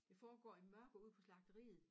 Det foregår i mørke ude på slagteriet